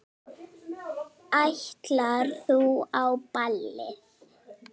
Ætlar þú á ballið?